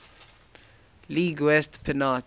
league west pennant